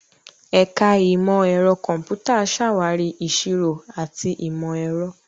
Ẹ̀ka Ìmọ̀ Ẹ̀rọ Kọ̀m̀pútà ṣàwárí ìṣirò àti ìmọ̀ ẹ̀rọ.